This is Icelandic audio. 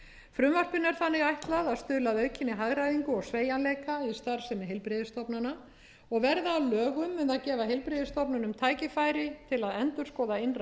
frumvarpinu er þannig ætlað að stuðla að aukinni hagræðingu og sveigjanleika í starfsemi heilbrigðisstofnana og verði það að lögum mun það gefa heilbrigðisstofnunum tækifæri til að endurskoða innra